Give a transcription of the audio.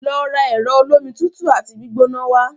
Lọ ra ẹ̀rọ olómi tutù àti gbígbóná wá!